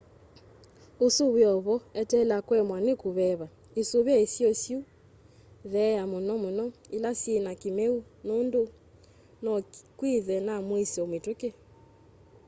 usu wi o vo eteela kuemwa ni kuveva isuvie isio syi itheeo muno muno ila syina kimeu nundu no kwithwe na muisyo mituki